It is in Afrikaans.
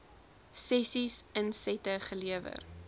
sessies insette gelewer